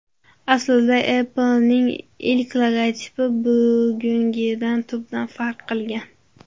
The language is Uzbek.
Aslida, Apple’ning ilk logotipi bugungidan tubdan farq qilgan.